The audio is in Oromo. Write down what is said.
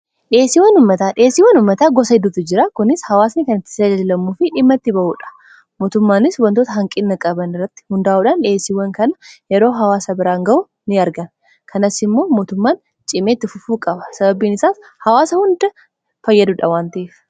Dhihessiwwan ummataa dhiheesiiwwan ummataa gosa hedduutu jira kunis hawaasni kan itti jajajlamuufi dhimma itti ba'uudha mootummaanis wantoota hanqina qaban irratti hundaa'uudhaan dhiheesiiwwan kana yeroo hawaasa biraan ga'u ni argan kanas immoo mootummaan cimeetti fufuu qaba sababiin isaas hawaasa hunda fayyaduudha waan ta'eef.